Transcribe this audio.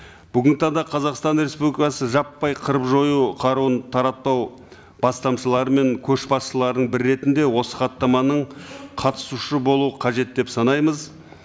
бүгінгі таңда қазақстан республикасы жаппай қырып жою қаруын таратпау бастамшылары мен көшбасшылардың бірі ретінде осы хаттаманың қатысушы болуы қажет деп санаймыз